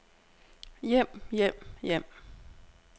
hjem hjem hjem